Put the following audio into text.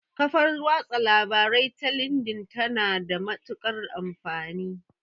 Kafar watsa labarai ta lindin ta na da matuƙar amfani